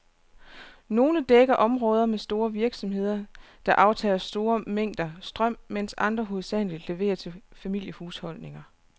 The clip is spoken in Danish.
Nogle dækker områder med store virksomheder, der aftager store mængder strøm, mens andre hovedsageligt leverer til familiehusholdninger.